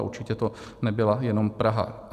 A určitě to nebyla jenom Praha.